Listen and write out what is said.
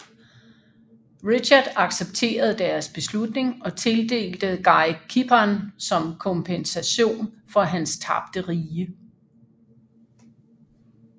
Richard accepterede deres beslutning og tildelte Guy Cypern som kompensation for hans tabte rige